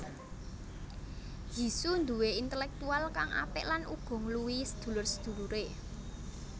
Yizhu duwé intelektual kang apik lan uga ngluwihi sedulur sedulure